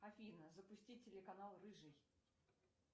афина запусти телеканал рыжий